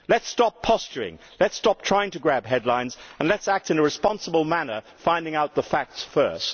Let us stop posturing, let us stop trying to grab headlines and let us act in a responsible manner, finding out the facts first.